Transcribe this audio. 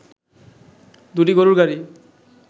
দুটি গরুর গাড়ি